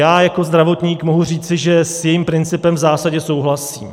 Já jako zdravotník mohu říci, že s jejím principem v zásadě souhlasím.